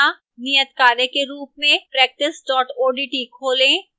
as an assignment नियतकार्य के रूप में